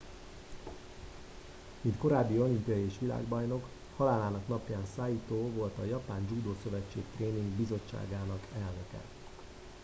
mint korábbi olimpiai és világbajnok halálának napján saito volt a japán judo szövetség tréning bizottságának elnöke